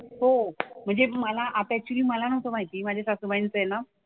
हो म्हणजे मला आता ऍक्चुअली मला नव्हतं माहिती माझ्या सासूबाईंचं आहे ना.